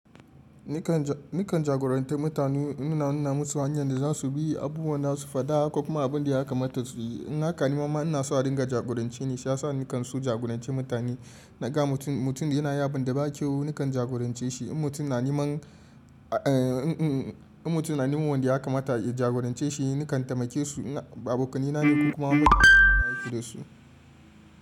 Nikan jagorantar mutane, ina nuna musu hanyan da za su bi, abubuwan za su faɗa ko kuma abin da ya kamata su yi. In haka ni ma ma ina so a ringa jagorance ni, shi ya sa nikan so jagorance mutane. Na ga mutum da yana yin abun da ba kyau, nikan jagorance shi. In mutum na neman in mutum na neman wanda ya kamata ya jagorance shi, nikan taimake su. Abokanai na ne ko kuma abokansu ana aiki dasu.